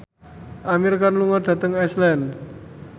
Amir Khan lunga dhateng Iceland